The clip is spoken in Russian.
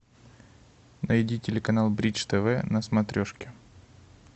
найди телеканал бридж тв на смотрешке